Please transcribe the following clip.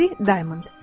Mary Diamond.